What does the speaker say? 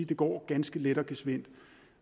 det går ganske let og gesvindt